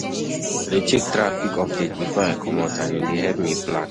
I dey check traffic updates before I comot and e dey help me plan.